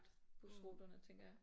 Busruterne tænker jeg